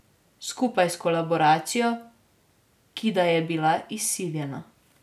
Skupaj s kolaboracijo, ki da je bila izsiljena.